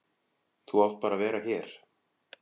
Þú átt bara að vera hér.